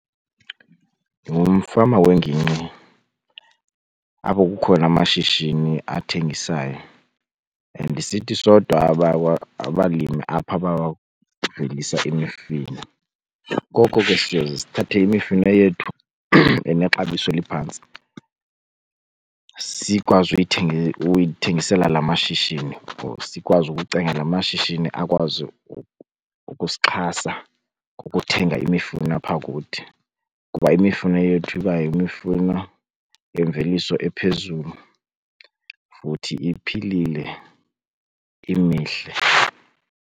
Ndingumfama wengingqi apho kukhona amashishini athengisayo and sithi sodwa abalimi apha abavelisa imifino. Ngoko ke siye sithathe imifino yethu enexabiso eliphantsi sikwazi uyithengisela la mashishini or sikwazi ukucenga la mashishini akwazi ukusixhasa ngokuthenga imifuno apha kuthi, kuba imifuno yethu iba yimifuno yemveliso ephezulu futhi iphilile imihle.